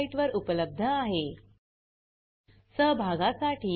या ट्यूटोरियल चे भाषांतर कविता साळवे यांनी केले असून मी रंजना भांबळे आपला निरोप घेते